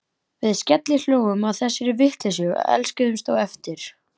Við skellihlógum að þessari vitleysu og elskuðumst á eftir.